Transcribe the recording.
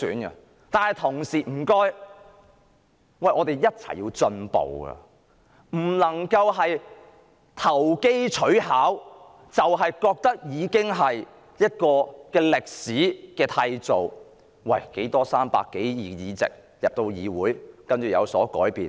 請大家一起進步，不能投機取巧，認為港人已締造歷史，認為泛民有300多個區議會議席，將令議會有所改變。